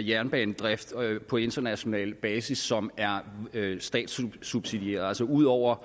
jernbanedrift på international basis som er statssubsidieret altså ud over